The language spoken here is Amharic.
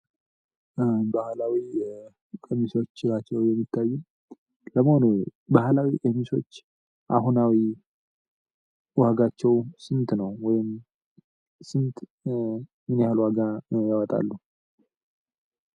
ባህላዊ ቀሚሶዎች ናቸው የሚታዩት ለመሆኑ ባህላዊ ቀሚሶች አሁናዊ ዋጋቸው ስንት ነው ወይም ስንት ወይም ምን ያህል ዋጋ ያወጣሉ?